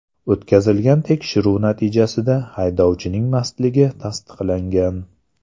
O‘tkazilgan tekshiruv natijasida haydovchining mastligi tasdiqlangan.